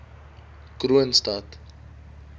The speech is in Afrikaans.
kroonstad